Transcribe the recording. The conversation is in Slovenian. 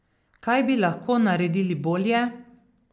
Kaj bi lahko naredili bolje?